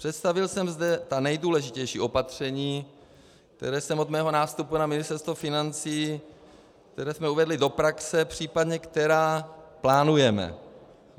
Představil jsem zde ta nejdůležitější opatření, která jsem od svého nástupu na Ministerstvo financí, která jsme uvedli do praxe, případně která plánujeme.